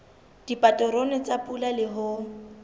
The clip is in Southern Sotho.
dipaterone tsa pula le ho